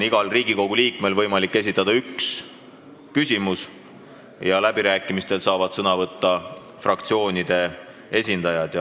Igal Riigikogu liikmel on võimalik esitada üks küsimus ja läbirääkimistel saavad sõna võtta fraktsioonide esindajad.